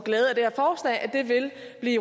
vi